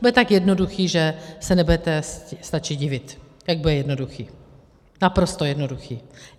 Bude tak jednoduchý, že se nebudete stačit divit, jak bude jednoduchý, naprosto jednoduchý.